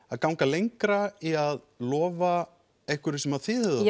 að ganga lengra í að lofa einhverju sem þið hefðuð